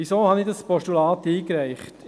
Wieso habe ich das Postulat eingereicht?